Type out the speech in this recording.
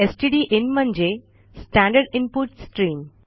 stdin म्हणजे standard input stream